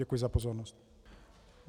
Děkuji za pozornost.